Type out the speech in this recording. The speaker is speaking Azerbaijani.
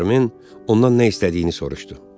Barmin ondan nə istədiyini soruşdu.